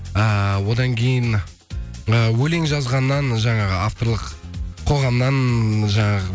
эээ одан кейін э өлең жазғаннан жаңағы авторлық қоғамнан жаңағы